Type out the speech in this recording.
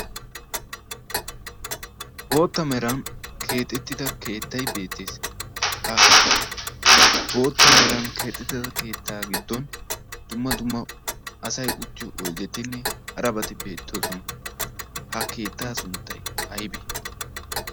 bootta meran keexettida keettai beettees. ha bootta meran keexettida keettaa giddon dumma dumma asay uttiyo oyddettinne harabati beettoosona. ha keettaa sunttay aybee?